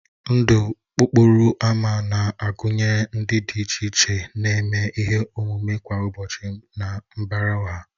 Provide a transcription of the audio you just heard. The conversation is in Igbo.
Ndụ okporo ámá na-agụnye ndị dị iche iche na-eme ihe omume kwa ụbọchị na mbara ọha